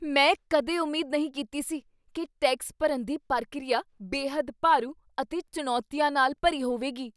ਮੈਂ ਕਦੇ ਉਮੀਦ ਨਹੀਂ ਕੀਤੀ ਸੀ ਕੀ ਟੈਕਸ ਭਰਨ ਦੀ ਪ੍ਰਕਿਰਿਆ ਬੇਹੱਦ ਭਾਰੂ ਅਤੇ ਚੁਣੌਤੀਆਂ ਨਾਲ ਭਰੀ ਹੋਵੇਗੀ।